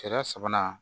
Sariya sabanan